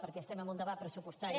perquè estem en un debat pressupostari